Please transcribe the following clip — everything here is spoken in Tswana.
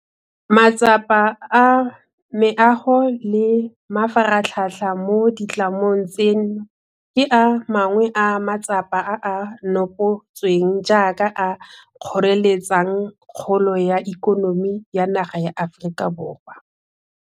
Matsapa a meago le mafaratlhatlha mo ditlamong tseno ke a mangwe a matsapa a a nopotsweng jaaka a a kgoreletsang kgolo ya ikonomi ya naga ya Aforika Borwa.